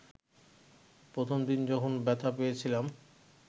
প্রথম দিন যখন ব্যথা পেয়েছিলাম